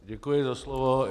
Děkuji za slovo.